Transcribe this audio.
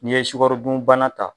N'i ye sukɔro dunbana ta